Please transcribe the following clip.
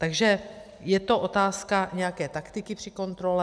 Takže je to otázka nějaké taktiky při kontrole.